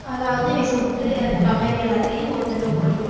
அதாவது, இவன் சொத்து அந்த company எல்லாத்தையும் ஒருத்தன்ட்ட ஒப்படைக்கணும்.